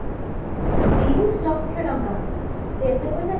ତିରିଶ ଲକ୍ଷ ଟଙ୍କା, ଯେ ଏତେ ପଇସା